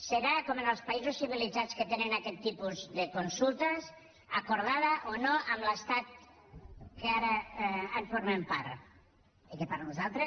serà com en els països civilitzats que tenen aquest tipus de consultes acordada o no amb l’estat que ara en formem part i que per nosaltres